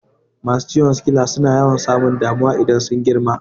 Masu ciwon sikila suna yawan samun damuwa idan sun girma